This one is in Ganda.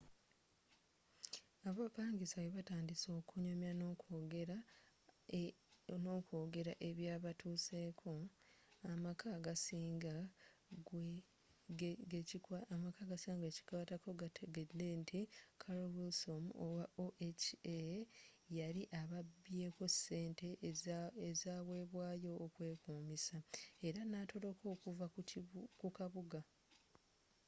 abapangisa bwebatandise okunyumya nokwogera ebyabatuuseko amaka agasinga gekikwatako gategedde nti carolyn wilsom owa oha yali ababyeko ssente ezawebwayo okwekuumisa era natoloka okuva mu kabuga